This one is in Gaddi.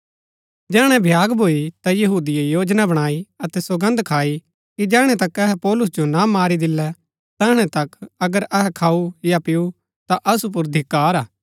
जैहणै भ्याग भूई ता यहूदिये योजना बणाई अतै सौगन्द खाई कि जैहणै तक अहै पौलुस जो ना मारी दिल्लै तैहणै तक अगर अहै खाऊ या पिऊ ता असु पुर धिक्‍कार